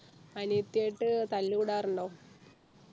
അനിയത്തി ആയിട്ട് തല്ലുകൂടാറുണ്ടോ